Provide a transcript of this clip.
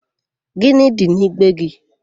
Gịnị dị n'igbe gị?